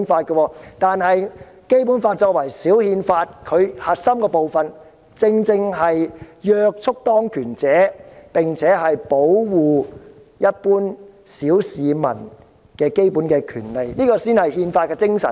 《基本法》作為小憲法，其核心部分正正是約束當權者，並且保護一般小市民的基本權利，這才是憲法精神。